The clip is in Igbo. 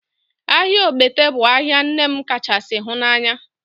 Ahịa Ogbete bụ ahịa nne m kachasị hụ n'anya